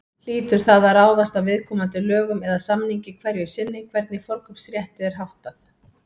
Hlýtur það að ráðast af viðkomandi lögum eða samningi hverju sinni hvernig forkaupsrétti er háttað.